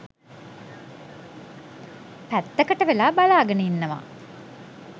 පැත්තකට වෙලා බලාගෙන ඉන්නවා.